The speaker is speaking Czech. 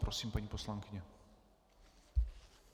Prosím, paní poslankyně.